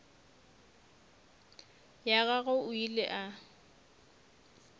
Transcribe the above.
ya gagwe o ile a